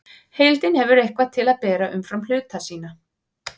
Heildin hefur eitthvað til að bera umfram hluta sína.